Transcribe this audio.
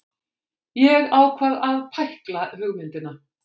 Ég ákvað að pækla hugmyndina.